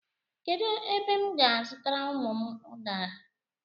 Kedu ebe m ga-azutara ụmụ m udara?